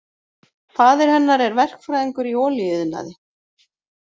Faðir hennar er verkfræðingur í olíuiðnaði